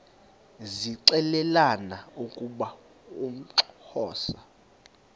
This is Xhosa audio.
zixelelana ukuba uxhosa